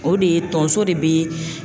O de ye tonso de be